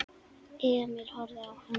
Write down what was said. Emil horfði á hann.